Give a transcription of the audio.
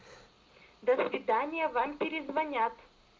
до свидания вам перезвонят